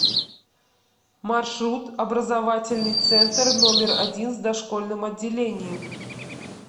маршрут образовательный центр номер один с дошкольным отделением